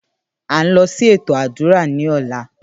À ń lọ sí ètò àdúrà ní ọ̀la